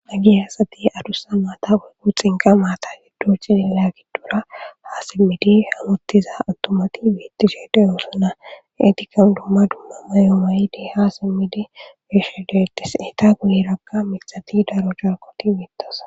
aggi hasati adusa maata uygu xinqa maata yiddo ci linna giddura ha simmidi hamottiza attomati wiittishe deyoosana etikan dumma dumma mayo mayidi ha simmidi wiishe deyetes eta guyirakka mixati daro jharkoti wiittasa